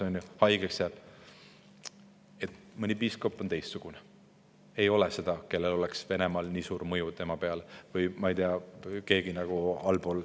Mõni piiskop või keegi allpool juhtimistasandil on teistsugune, mõne üle ei ole Venemaal nii suurt mõjuvõimu.